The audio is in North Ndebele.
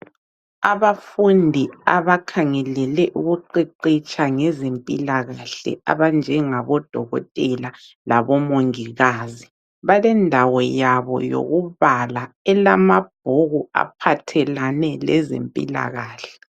Abafundi abakhangelele ukuqeqetsha ngezempilakahle abanjengabodokotela labomongikazi balendawo yabo yokubala elamabhuku aphathelane lezempilakahle.